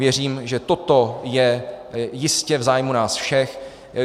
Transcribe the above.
Věřím, že toto je jistě v zájmu nás všech.